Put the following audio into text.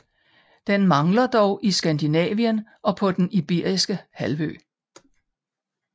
Den mangler dog i Skandinavien og på den Iberiske Halvø